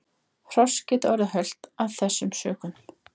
Hross geta orðið hölt af þessum sökum.